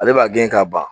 Ale b'a gɛn ka ban